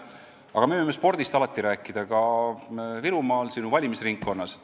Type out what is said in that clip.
Aga me võime spordist alati rääkida ka Virumaal, sinu valimisringkonnas.